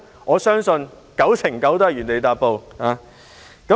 我相信很有可能會是這樣。